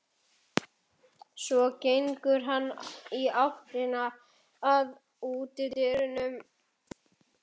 Svo gengur hann í áttina að útidyrunum.